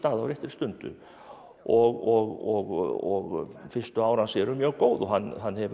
á réttri stundu og fyrstu ár hans eru mjög góð og hann hann hefur